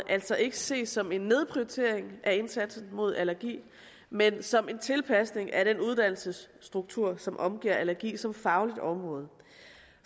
altså ikke ses som en nedprioritering af indsatsen mod allergi men som en tilpasning af den uddannelsesstruktur som omgiver allergi som fagligt område